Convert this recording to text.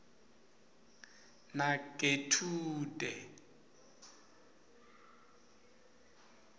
nagethude